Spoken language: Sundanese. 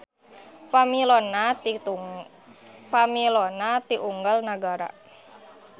Pamilonna ti unggal nagara.